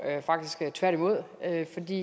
det